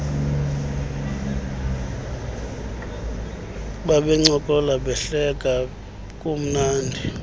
babencokola behleka kumnandi